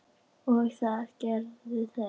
og það gerðu þau.